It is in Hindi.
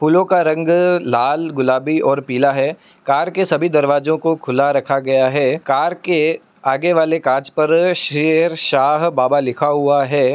फूल का रंग लाल गुलाबी और पीला है। कार के सभी दरवाजो खुला रखा गया है। कार के आगे वाला काच पर शेरशाह बाबा लिखा हुआ है।